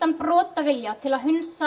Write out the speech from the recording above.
brotavilja til að hundsa